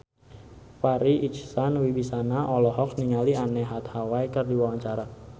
Farri Icksan Wibisana olohok ningali Anne Hathaway keur diwawancara